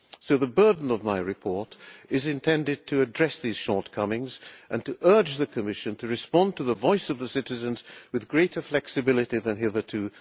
So the burden of my report is intended to address these shortcomings and to urge the Commission to respond to the voice of the citizens with greater flexibility than hitherto.